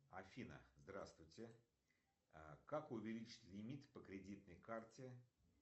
афина здравствуйте как увеличить лимит по кредитной карте